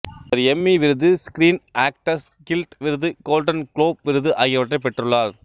இவர் எம்மி விருது Screen Actors Guild விருது கோல்டன் குளோப் விருது ஆகியவற்றை பெற்றுள்ளார்